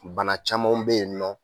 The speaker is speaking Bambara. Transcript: Bana camanw bɛ yen nɔ